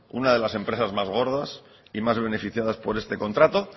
una de las empresas más gordas y más beneficiadas por este contrato